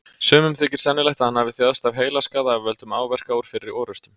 Sumum þykir sennilegt að hann hafi þjáðst af heilaskaða af völdum áverka úr fyrri orrustum.